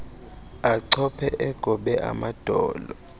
achophe egobe amadolo